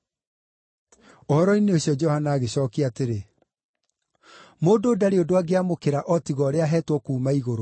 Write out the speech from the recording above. Ũhoro-inĩ ũcio Johana agĩcookia atĩrĩ, “Mũndũ ndarĩ ũndũ angĩamũkĩra o tiga ũrĩa aheetwo kuuma igũrũ.